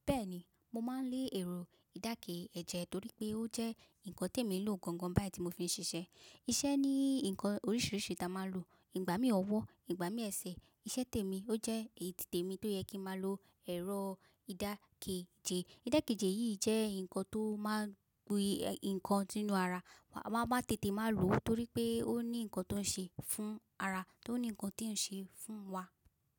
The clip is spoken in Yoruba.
Bẹ́ẹ̀ni, mo máa ń lé ẹ̀rọ ìdákẹ́jẹ torí pé ó jẹ́ nǹkan tí mo ń lò gangan bá ti mo fi ń ṣiṣẹ́. Iṣẹ́ ní ǹkan oríṣiríṣi tí a máa ń lò. Ìgbà mí ọwọ́, ìgbà mí ẹsẹ̀. Iṣẹ́ tèmi ó jẹ́ èyí tí tèmi tó yẹ kí máa lo ẹ̀rọ ìdákẹ́jẹ. Ìdákẹ́jẹ yìí jẹ́ ǹkan tó máa ń gún ǹkan sínú ara. A máa tètè máa lò ó torí pé ó ní ǹkan tó ń ṣe fún ara, tó ní ǹkan tí ó ń ṣe fún wa.